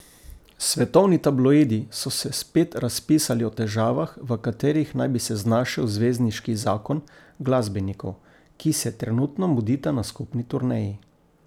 Svetovni tabloidi so se spet razpisali o težavah, v katerih naj bi se znašel zvezdniški zakon glasbenikov, ki se trenutno mudita na skupni turneji.